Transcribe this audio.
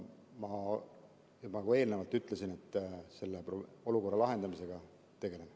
Ma juba eelnevalt ütlesin, et me selle olukorra lahendamisega tegeleme.